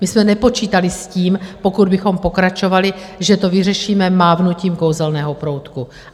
My jsme nepočítali s tím, pokud bychom pokračovali, že to vyřešíme mávnutím kouzelného proutku.